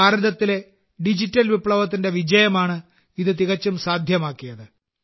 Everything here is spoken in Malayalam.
ഭാരതത്തിലെ ഡിജിറ്റൽ വിപ്ലവത്തിന്റെ വിജയമാണ് ഇത് തികച്ചും സാധ്യമാക്കിയത്